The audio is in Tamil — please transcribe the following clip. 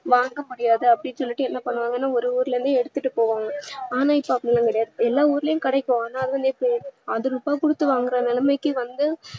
மறக்க முடியாது அப்டின்னு சொல்லிட்டு என்ன பண்ணுவாங்கனா ஒரு ஊருல இருந்து எடுத்துட்டு போவாங்க ஆனா இப்ப அப்டியெல்லா கிடையாது எல்லா ஊருலயும் கிடைக்கு ஆனா திருப்பி வாங்குற நிலமைக்கி வந்து